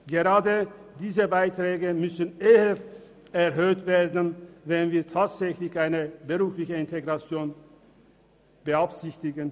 Denn gerade diese Beiträge müssten eher erhöht werden, wenn wir tatsächlich eine berufliche Integration beabsichtigen.